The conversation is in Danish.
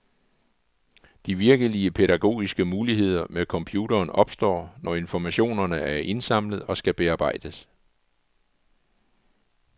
De virkelig pædagogiske muligheder med computeren opstår, når informationerne er indsamlet og skal bearbejdes.